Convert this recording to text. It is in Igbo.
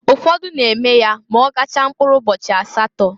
Ụfọdụ na-eme ya ma ọ gachaa mpkụrụ ụbọchị asatọ.